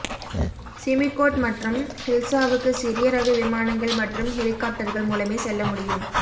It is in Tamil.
சிமிகோட் மற்றும் ஹில்சாவுக்கு சிறிய ரக விமானங்கள் மற்றும் ஹெலிகாப்டர்கள் மூலமே செல்ல முடியும்